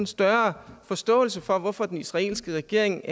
større forståelse for hvorfor den israelske regering